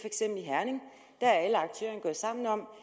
i herning der er alle aktørerne gået sammen om